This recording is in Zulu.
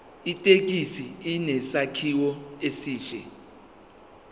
ithekisi inesakhiwo esihle